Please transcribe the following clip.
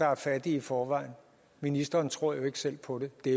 er fattige i forvejen ministeren tror jo ikke selv på det det